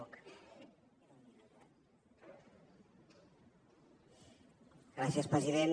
gràcies president